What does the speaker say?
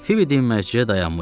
Fibi dinməzcə dayanmışdı.